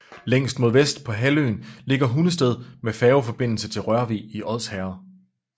Længst mod vest på halvøen ligger Hundested med færgeforbindelse til Rørvig i Odsherred